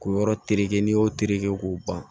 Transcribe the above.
K'o yɔrɔ tereke n'i y'o terereke k'o ban